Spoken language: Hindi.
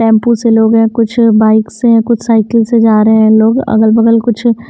टैंपू से लोग हैं कुछ बाइक से हैं कुछ साइकिल से जा रहे हैं लोग अगल-बगल कुछ --